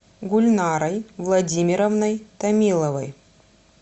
гульнарой владимировной томиловой